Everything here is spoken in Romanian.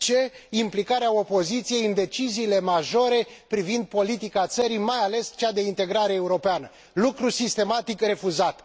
c implicarea opoziției în deciziile majore privind politica țării mai ales cea de integrare europeană, lucru sistematic refuzat.